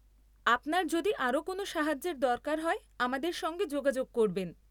আপনার যদি আরও কোনও সাহায্যের দরকার হয়, আমাদের সঙ্গে যোগাযোগ করবেন।